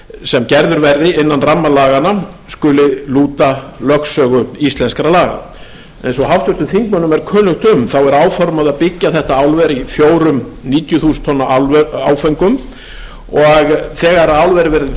sem gerður verði innan ramma laganna skuli lúta lögsögu íslenskra laga eins og háttvirtum þingmönnum er kunnugt um er áformað að byggja álverið í fjórum níutíu þúsund tonna áföngum og þegar álverið verður